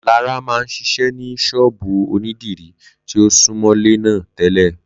Lará máa ń ṣiṣẹ́ ní ṣọ́ọ̀bú ònídìrí tí ó súmọ́lé náà tẹ́lẹ̀